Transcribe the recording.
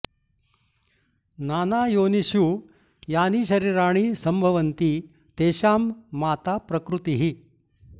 नाना योनिषु यानि शरीराणि सम्भवन्ति तेषां माता प्रकृतिः